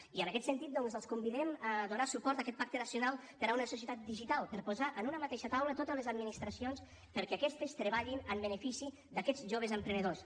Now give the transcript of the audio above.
i en aquest sentit els convidem a donar suport a aquest pacte nacional per a una societat digital per posar en una mateixa taula totes les administracions perquè aquestes treballin en benefici d’aquests joves emprenedors